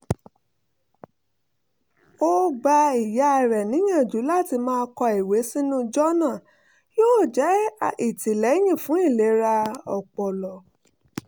ó gba ìyá rẹ̀ níyànjú láti máa kọ ìwé sínú jọ́nà yóò jẹ́ ìtìlẹ́yìn fún ìlera ọpọlọ